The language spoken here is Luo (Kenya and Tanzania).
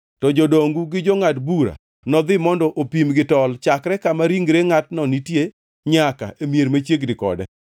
to jodongu gi jongʼad bura nodhi mondo opim gi tol chakre kama ringre ngʼatno nitie nyaka e mier machiegni kode.